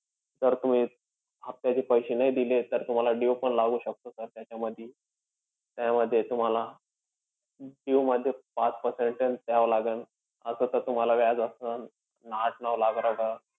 जर तुम्ही, हे हफ्त्याचे पैसे नाही दिले, तर तुम्हाला due पण लागू शकतो sir. त्याच्यामधी. त्यामध्ये तुम्हाला due मध्ये पाच percentage द्यावं लागेन. असं तर तुम्हाला व्याज असंन आठ-नऊ लाख रुपयावर.